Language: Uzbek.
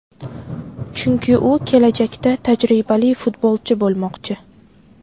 Chunki u kelajakda tajribali futbolchi bo‘lmoqchi.